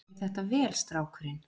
Hann gerir þetta vel, strákurinn.